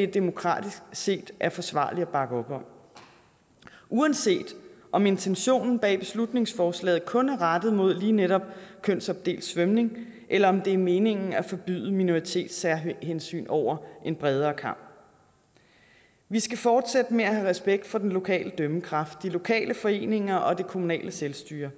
ikke demokratisk set er forsvarligt at bakke op om uanset om intentionen bag beslutningsforslaget kun er rettet imod lige netop kønsopdelt svømning eller om det er meningen at forbyde minoritetssærhensyn over en bredere kam vi skal fortsætte med at have respekt for den lokale dømmekraft de lokale foreninger og det kommunale selvstyre